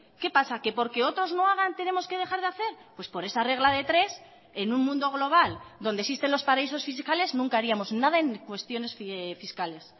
qué pasa que porque otros no hagan tenemos que dejar de hacer pues por esa regla de tres en un mundo global donde existen los paraísos fiscales nunca haríamos nada en cuestiones fiscales